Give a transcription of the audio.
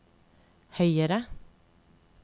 høyere